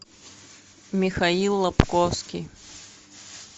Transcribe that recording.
михаил лабковский